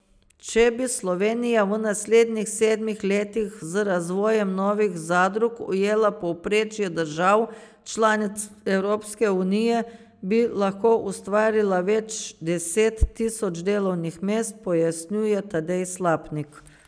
Če bi Slovenija v naslednjih sedmih letih z razvojem novih zadrug ujela povprečje držav članic Evropske unije, bi lahko ustvarila več deset tisoč delovnih mest, pojasnjuje Tadej Slapnik.